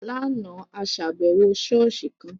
Láàna, a ṣàbẹwò ṣọ̀ọ́sì kan.